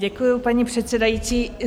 Děkuju, paní předsedající.